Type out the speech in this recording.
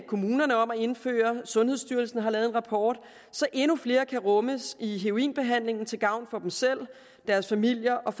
kommunerne om at indføre det sundhedsstyrelsen har lavet en rapport så endnu flere kan rummes i heroinbehandlingen til gavn for dem selv deres familier og